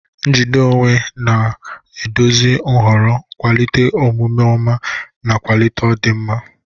Njide onwe onye ga-eduzi nhọrọ, kwalite omume ọma, ma kwalite ọdịmma.